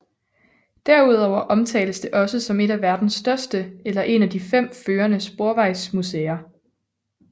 Derudover omtales det også som et af verdens største eller en af de fem førende sporvejsmuseer